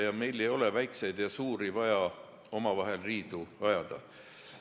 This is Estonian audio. Ja meil ei ole vaja väikseid ja suuri omavahel riidu ajada.